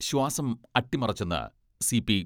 ശ്വാസം അട്ടിമറിച്ചെന്ന് C P